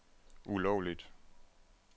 ulovligt